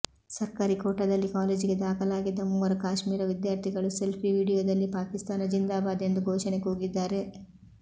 ಸರ್ಕಾರಿ ಕೋಟಾದಲ್ಲಿ ಕಾಲೇಜಿಗೆ ದಾಖಲಾಗಿದ್ದ ಮೂವರು ಕಾಶ್ಮೀರ ವಿದ್ಯಾರ್ಥಿಗಳು ಸೆಲ್ಫಿ ವಿಡಿಯೋದಲ್ಲಿ ಪಾಕಿಸ್ತಾನ ಜಿಂದಾಬಾದ್ ಎಂದು ಘೋಷಣೆ ಕೂಗಿದ್ದಾರೆ